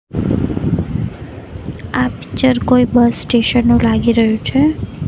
આ પિક્ચર કોઈ bus station નું લાગી રહ્યું છે.